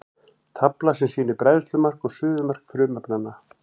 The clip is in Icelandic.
tafla sem sýnir bræðslumark og suðumark frumefnanna